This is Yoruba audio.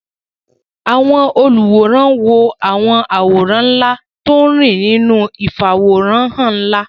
Àwọn olùwòran wo àwọn àwòrán ńlá tó ń rìn nínú ìfàwòránhàn ńlá